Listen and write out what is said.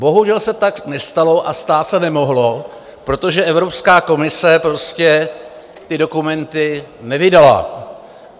Bohužel se tak nestalo a stát se nemohlo, protože Evropská komise prostě ty dokumenty nevydala.